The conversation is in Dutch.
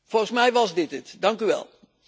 Volgens mij was dit het, dank u wel.